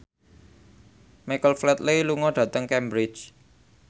Michael Flatley lunga dhateng Cambridge